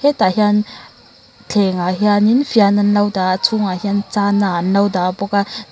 hetah hian thlengah hianin fian an lo dah a a chhungah hian chana an lo dah bawk a.